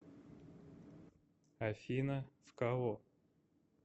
афина в кого